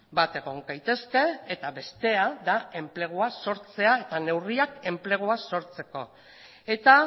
bat egon gaitezke eta bestea da enplegua sortzea eta neurriak enplegua sortzeko eta